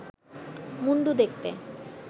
মুণ্ডু দেখতে